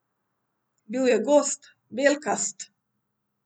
Bil je gost, belkast.